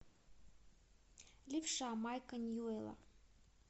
левша майка ньюэлла